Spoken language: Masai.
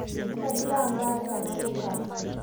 Kadiraa mbaas tanalo nkang